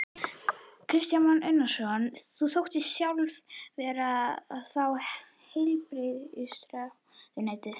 Kristján Már Unnarsson: Þú sóttist sjálf eftir að fá heilbrigðisráðuneytið?